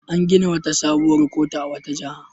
An gina wata sabuwar kotu a wata jiha.